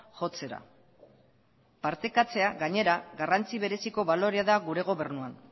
jotzera partekatzea gainera garrantzi bereziko balorea da gure gobernuan